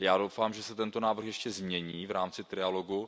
Já doufám, že se návrh ještě změní v rámci trialogu.